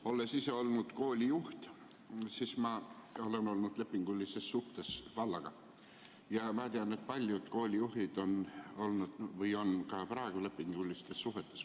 Olles ise olnud koolijuht, olen ma olnud lepingulises suhtes vallaga ja ma tean, et paljud koolijuhid on olnud või on ka praegu lepingulistes suhetes.